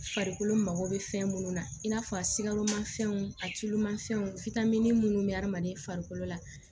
Farikolo mago bɛ fɛn minnu na i n'a fɔ a sikamafɛnw a tulumanfɛnw fitini munnu be adamaden farikolo la